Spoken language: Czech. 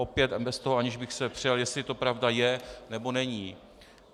Opět bez toho, aniž bych se přel, jestli to pravda je, nebo není.